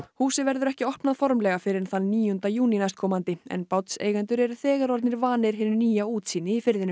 húsið verður ekki opnað formlega fyrr en þann níunda júní næstkomandi en eru þegar orðnir vanir hinu nýja útsýni í firðinum